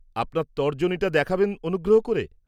-আপনার তর্জনীটা দেখাবেন অনুগ্রহ করে।